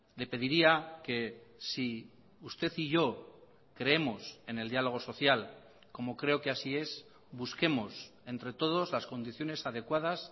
le pediría que si usted y yo creemos en el diálogo social como creo que así es busquemos entre todos las condiciones adecuadas